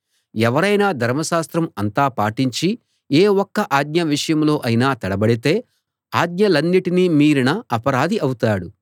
ఎవరైనా ధర్మశాస్త్రం అంతా పాటించి ఏ ఒక్క ఆజ్ఞ విషయంలో అయినా తడబడితే ఆజ్ఞలన్నిటినీ మీరిన అపరాధి అవుతాడు